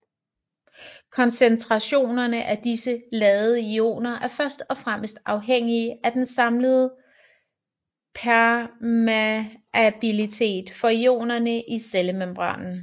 Koncentrationerne af disse ladede ioner er først og fremmest afhængige af den samlede permeabilitet for ionerne i cellemembranen